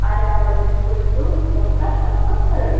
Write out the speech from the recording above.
ಅರಾಮಡ್ ಒಂತೆ ಕುಲ್ದು ಬೊಕ್ಕ ನಮಕ್ ಬರೊಲಿ.